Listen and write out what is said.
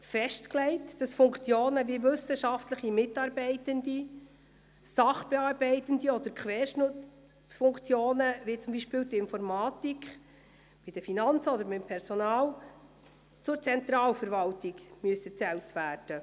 Heute stand ich aber am Rednerpult, und die Frau Regierungsrätin hat gehört, wie ich es gemeint habe, wie ich es also interpretiere.